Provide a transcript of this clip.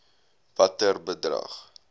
watter bedrag